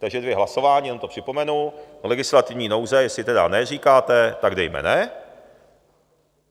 Takže dvě hlasování, jenom to připomenu - legislativní nouze - jestli tedy ne říkáte, tak dejme ne.